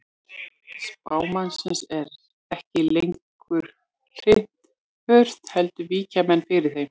Spámannsins er ekki lengur hrint burt heldur víkja menn fyrir þeim.